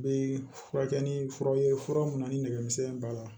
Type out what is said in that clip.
Bɛ furakɛli ni furaw ye fura minnu na ni nɛgɛmisɛn in b'a la